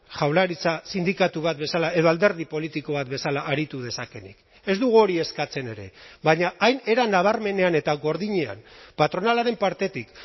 jaurlaritza sindikatu bat bezala edo alderdi politiko bat bezala aritu dezakeenik ez dugu hori eskatzen ere baina hain era nabarmenean eta gordinean patronalaren partetik